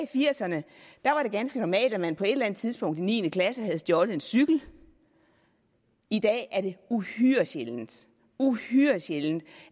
firserne var det ganske normalt at man på et eller andet tidspunkt i niende klasse havde stjålet en cykel i dag er det uhyre sjældent uhyre sjældent